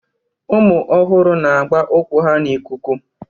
Ụmụ ọhụrụ na-agba ụkwụ ha n'ikuku